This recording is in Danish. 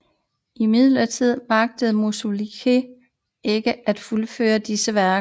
Imidlertid magtede Musorgskij ikke at fuldføre disse værker